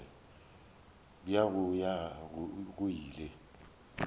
bja go ya go ile